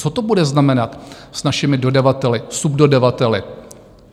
Co to bude znamenat... s našimi dodavateli, subdodavateli?